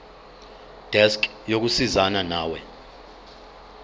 desk yokusizana nawe